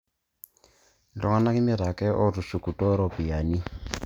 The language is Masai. Iltung'anak imiet ake ootushukutuo iropiyinani